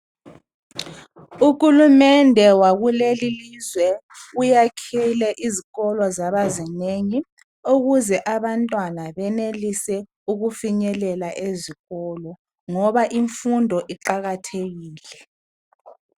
Uhulumende wakulelilizwe uyakhile izikolo zabazinengi . Ukuze abantwana benelise ukufinyelela ezikolo .Ngoba imfundo iqakathekile.